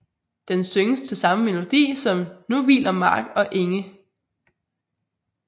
Den synges til samme melodi som Nu hviler Mark og Enge